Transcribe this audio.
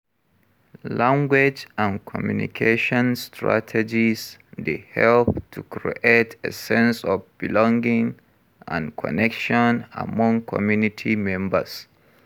Language and communication strategies dey help to create a sense of belonging and connection among community members.